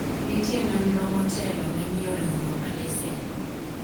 nitie nonro motelo ne miyo riwruok lesen